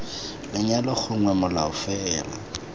lenyalo gongwe molao mongwe fela